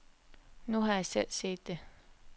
Nu har jeg selv set det.